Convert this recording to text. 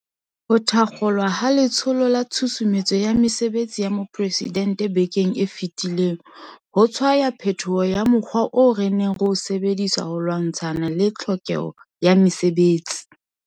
Ho thakgolwa ha Letsholo la Tshusumetso ya Mesebetsi ya Mopresidente bekeng e fetileng ho tshwaya phetoho ya mo kgwa oo re neng re o sebedisa ho lwantshana le tlhokeho ya mesebetsi.